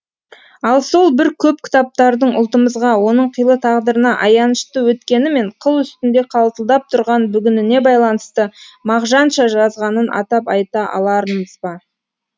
ал сол бір көп кітаптардың ұлтымызға оның қилы тағдырына аянышты өткені мен қыл үстінде қалтылдап тұрған бүгініне байланысты мағжанша жазғанын атап айта алармыз ба